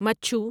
مچھو